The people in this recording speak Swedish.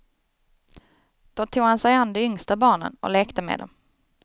Då tog han sig an de yngsta barnen och lekte med dem.